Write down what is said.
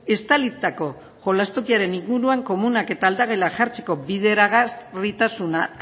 estalitako jolastokiaren inguruan komunak eta aldagela jartzeko bideragarritasuna